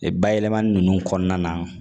Bayɛlɛmani ninnu kɔnɔna na